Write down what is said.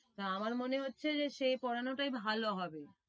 তা আমার মনে হচ্ছে যে, সে পড়ানোটাই ভালো হবে।